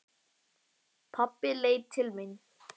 Pabbi leit til mín.